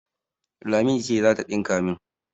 Lami ce za ta ɗinka min.